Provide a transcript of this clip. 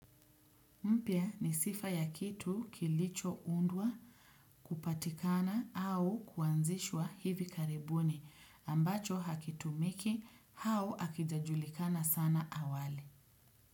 Mpya ni sifa ya kitu kilichoundwa kupatikana au kuanzishwa hivi karibuni ambacho hakitumiki hau hakijajulikana sana awali.